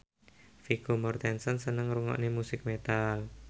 Vigo Mortensen seneng ngrungokne musik metal